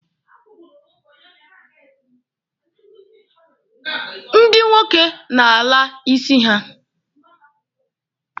Ndị nwoke na-ala isi ha.